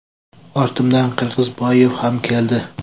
Ortimdan Qirg‘izboyev ham keldi.